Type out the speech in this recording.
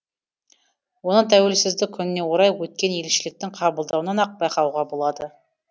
оны тәуелсіздік күніне орай өткен елшіліктің қабылдауынан ақ байқауға болады